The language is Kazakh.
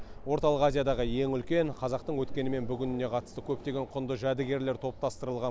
орталық азиядағы ең үлкен қазақтың өткені мен бүгініне қатысты көптеген құнды жәдігерлер топтастырылған